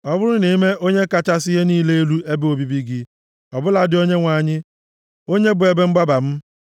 Ọ bụrụ na i mee Onye kachasị ihe niile elu ebe obibi gị, ọ bụladị Onyenwe anyị, onye bụ ebe mgbaba m,